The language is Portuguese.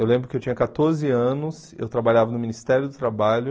Eu lembro que eu tinha quatorze anos, eu trabalhava no Ministério do Trabalho.